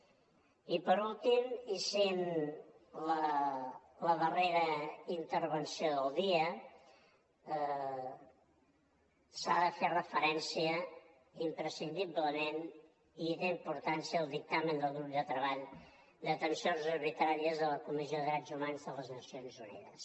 i per últim i sent la darrera intervenció del dia s’ha de fer referència imprescindiblement i té importància al dictamen del grup de treball de detencions arbitràries de la comissió de drets humans de les nacions unides